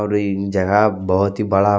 और ये जगह बहुत ही बड़ा--